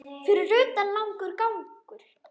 Fyrir utan langur gangur.